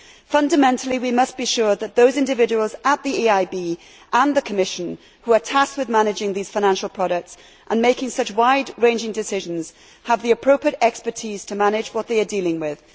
Fundamentally, we must be sure that those individuals at the EIB and the Commission who are tasked with managing these financial products and making such wide ranging decisions have the appropriate expertise to manage what they are dealing with.